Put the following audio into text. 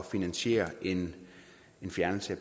finansiere en fjernelse